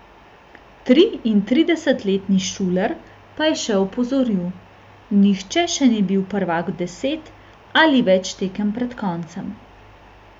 Triintridesetletni Šuler pa je še opozoril: "Nihče še ni bil prvak deset ali več tekem pred koncem.